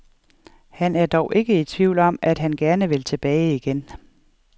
Han er dog ikke i tvivl om, at han gerne vil tilbage igen.